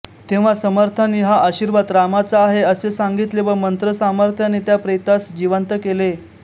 तेव्हा समर्थांनी हा आशीर्वाद रामाचा आहे असे सांगितले व मंत्र सामर्थ्याने त्या प्रेतास जिवंत केले